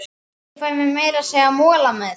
Ég fæ meira að segja mola með.